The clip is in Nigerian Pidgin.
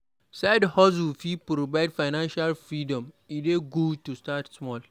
Side-hustles fit provide financial freedom; e dey good to start small.